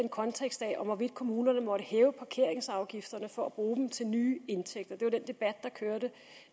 en kontekst af hvorvidt kommunerne måtte hæve parkeringsafgifterne for at bruge dem til nye indtægter det var den debat der kørte